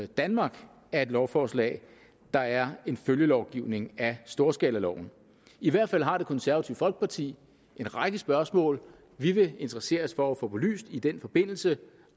danmark af et lovforslag der er en følgelovgivning af storskalaloven i hvert fald har det konservative folkeparti en række spørgsmål vi vil interessere os for at få belyst i den forbindelse